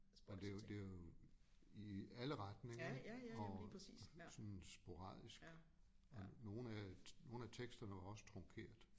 Men det jo det jo i alle retninger ik og sådan sporadisk og nogle af nogle af teksterne er også trunkeret